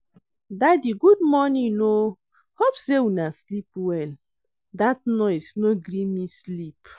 Daddy good morning o, hope sey una sleep well. Dat noise no gree me sleep.